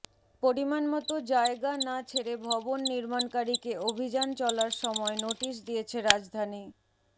পরিমাণমতো জায়গা না ছেড়ে ভবন নির্মাণকারীকে অভিযান চলার সময় নোটিশ দিয়েছে রাজধানী